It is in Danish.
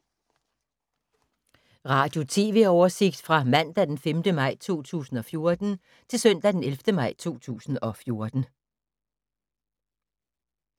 Radio/TV oversigt fra mandag d. 5. maj 2014 til søndag d. 11. maj 2014